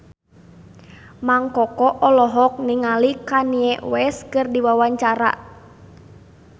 Mang Koko olohok ningali Kanye West keur diwawancara